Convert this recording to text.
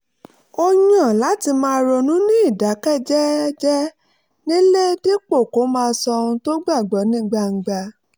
ó yàn láti máa ronú ní ìdákẹ́jẹ́ẹ́ nílé dípò kó máa sọ ohun tó gbàgbọ́ ní gbangba